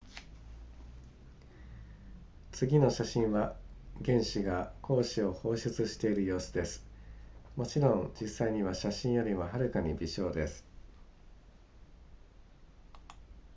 次の写真は原子が光子を放出している様子ですもちろん実際には写真よりもはるかに微小です